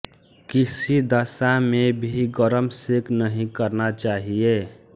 किसी दशा में भी गरम सेंक नहीं करना चाहिए